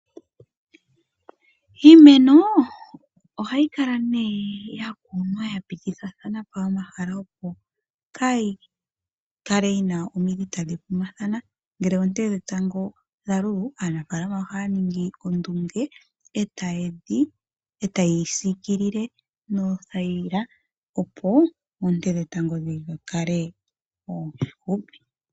Iimeno ohayi kala nee ya kunwa ya pitithathana po omahala, opo kaa yi kale yi na omidhi tadhi gumathana. Ngele oonte dhetango dha lulu aanafaalama ohaya ningi ondunge e taye yi siikilile noothayila, opo oonte dhetango dhi kale oofupi.